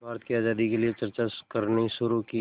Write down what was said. भारत की आज़ादी के लिए चर्चा करनी शुरू की